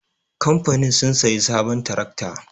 Kamfanin sun sayi sabon tirakta